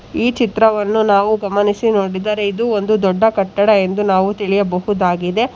ಈ ಚಿತ್ರವನ್ನು ನಾವು ಗಮನಿಸಿ ನೋಡಿದರೆ ಇದು ಒಂದು ದೊಡ್ಡ ಕಟ್ಟಡ ಎಂದು ನಾವು ತಿಳಿಯಬಹುದಾಗಿದೆ.